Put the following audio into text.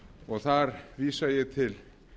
og þar vísa ég til